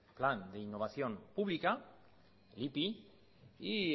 plan de innovación pública ipi y